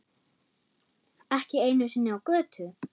Ekki einu sinni á götu.